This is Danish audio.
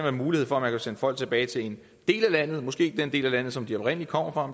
er mulighed for at sende folk tilbage til en del af landet måske ikke den del af landet som de oprindelig kommer fra